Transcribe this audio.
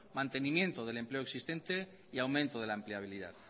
mantenimiento del empleo existente y aumento de la empleabilidad